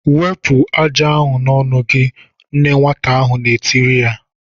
"Wepụ ájá n'ọnụ gị!" Nne nwata ahụ na-etiri ya.